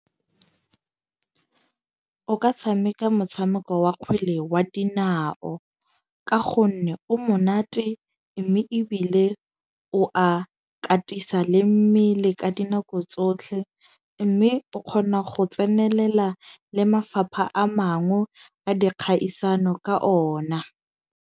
O ka tshameka motshameko wa kgwele wa dinao. Ka gonne o monate. Mme ebile o a katisa le mmele ka dinako tsotlhe. Mme o kgona go tsenelela le mafapha a mangwe a dikgaisano ka ona.